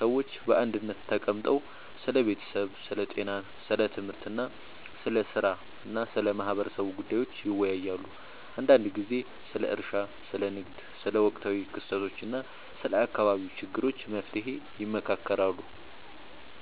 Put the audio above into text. ሰዎች በአንድነት ተቀምጠው ስለ ቤተሰብ፣ ስለ ጤና፣ ስለ ትምህርት፣ ስለ ሥራ እና ስለ ማህበረሰቡ ጉዳዮች ይወያያሉ። አንዳንድ ጊዜ ስለ እርሻ፣ ስለ ንግድ፣ ስለ ወቅታዊ ክስተቶች እና ስለ አካባቢው ችግሮች መፍትሔ ይመካከራሉ